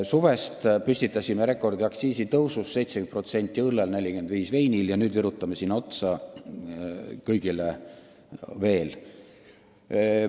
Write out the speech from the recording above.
Suvel püstitasime aga aktsiisitõusu rekordi: 70% õllel, 45% veinil, ja nüüd virutame veel kõigele otsa.